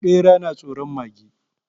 Bera yana tsoron mage